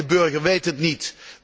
Alleen, de burger weet het niet.